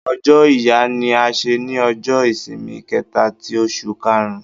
Ọ̀jọ́ Ìyà ní à ṣè ní Ọ̀jọ́-ìṣìmì kẹta tì Òṣù kàrún